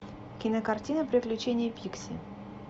кинокартина приключения пикси